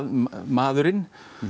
maðurinn